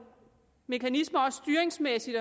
mekanismer også styringsmæssigt